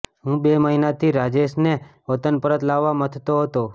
હું બે મહિનાથી રાજેશને વતન પરત લાવવા મથતો હતો